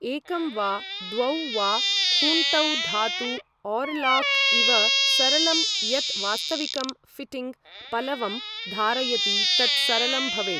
एकं वा द्वौ वा खूंटौ धातु ओरलॉक इव सरलं यत् वास्तविकं फिटिंग् पलवम् धारयति तत् सरलं भवेत् ।